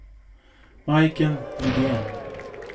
Majken Lidén